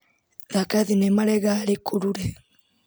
Thaka thinema legalĩ kulule.